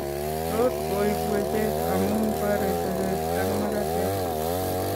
Tot koib wecheet amun boree teret ab makateet